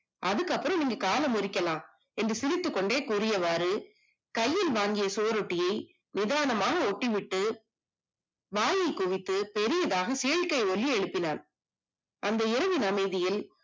அதுக்கு அப்புறம் நீங்க காலம் இருக்கலாம் என்று சிரித்துக் கொண்டே கூறியவாறு கையில் வாங்கிய சுவரொட்டியை நிதானமாக ஒட்டி விட்டு வாயை குவித்து பெரியதாக சிகிச்சை ஒலி அனுப்பினான் அந்த ஏவின வீதியில்